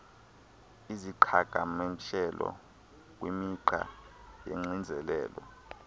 iziqhagamshelo kwimigca yoxinzelelo